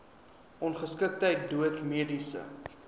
ongeskiktheid dood mediese